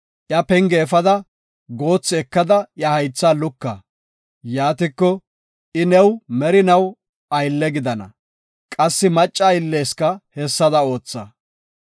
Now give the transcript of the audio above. iya penge efada, goothi ekada, iya haytha luka. Yaatiko, I new merinaw aylle gidana; qassi macca aylleska hessada ootha.